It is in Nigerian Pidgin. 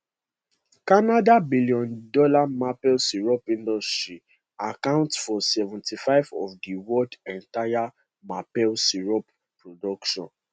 canada billiondollar maple syrup industry account for 75 of di world entire maple syrup production